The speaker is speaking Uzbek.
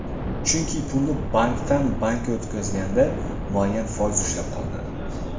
Chunki pulni bankdan bankka o‘tkazganda muayyan foiz ushlab qolinadi.